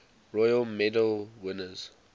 royal medal winners